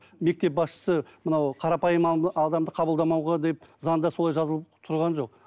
мектеп басшысы мынау қарапайым адамды қабылдамауға деп заңда солай жазылып тұрған жоқ